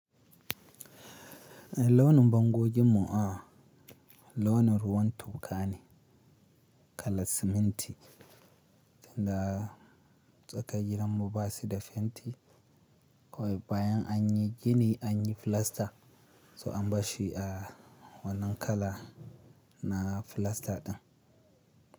Launin bango ginmu a, launin ruwan toka ne, kalar siminti. Tunda tsaka gidanmu ba su da fenti, kawai bayan an yi gini an yi filasta, so an ba shi a wannan kala na filasta din.